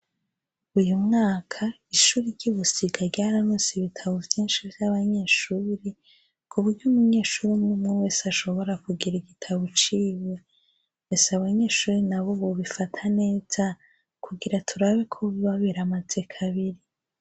Uyu mwaka ishure ry'i Busiga ryararonse ibitabo vyinshi vy'abanyeshure, ku buryo umunyeshure umw'umwe wese ashobora kugira igitabo ciwe. Ese abanyeshure nabo bobifata neza, kugira turabe ko biba biramaze kabiri.